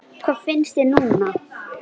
Hvað finnst þér núna?